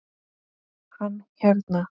Hann hérna.